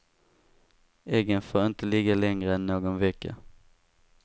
Äggen får inte ligga längre än någon vecka.